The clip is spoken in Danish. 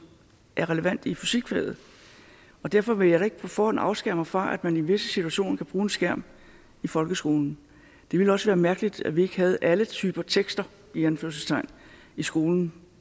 er relevant i fysikfaget og derfor vil jeg da ikke på forhånd afskære mig fra at man i visse situationer kan bruge en skærm i folkeskolen det ville også være mærkeligt at vi ikke havde alle typer tekster i anførselstegn i skolen